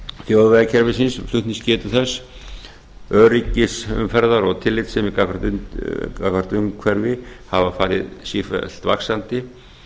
þjóðvegakerfisins og flutningsgetu þess öryggis umferðar og tillitssemi gagnvart umhverfi hafa farið sífellt vaxandi